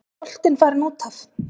Var boltinn farinn út af?